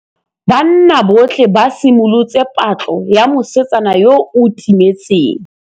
Banna botlhê ba simolotse patlô ya mosetsana yo o timetseng.